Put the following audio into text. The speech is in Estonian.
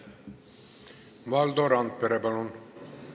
Valdo Randpere, palun!